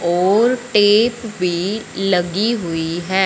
और टेप भी लगी हुई है।